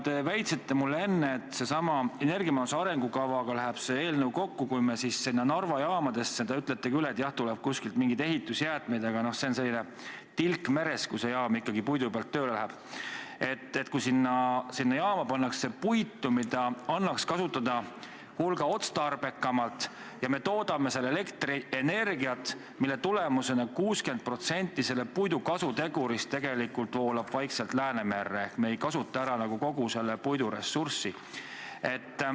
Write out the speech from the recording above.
Te väitsite mulle enne, et energiamajanduse arengukavaga läheb see eelnõu kokku, kui sinna Narva jaamadesse – te ütlesite küll, et jah, kuskilt tulevad mingid ehitusjäätmed, aga see on tilk meres, kui see jaam ikkagi puidu peal tööle hakkab – hakatakse panema puitu, mida annaks kasutada hulga otstarbekamalt, ja me toodame seal elektrienergiat, mille tulemusena 60% puidu kasutegurist tegelikult voolab vaikselt Läänemerre ehk me ei kasuta ära kogu selle puidu ressurssi.